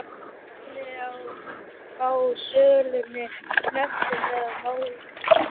kynni að fá sölunni hnekkt með málsókn.